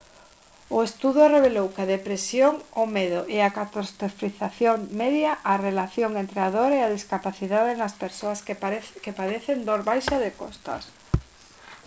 o estudo revelou que a depresión o medo e a catastrofización media a relación entre a dor e a discapacidade nas persoas que padecen dor baixa de costas